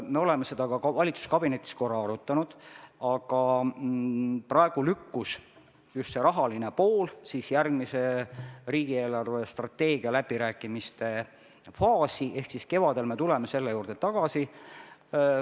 Me oleme seda valitsuskabinetis korra arutanud, aga praegu lükkus rahaline pool järgmise riigi eelarvestrateegia läbirääkimiste faasi, nii et me tuleme selle juurde kevadel tagasi.